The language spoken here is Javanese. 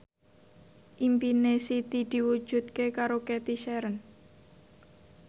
impine Siti diwujudke karo Cathy Sharon